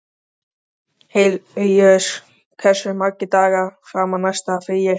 Hilaríus, hversu margir dagar fram að næsta fríi?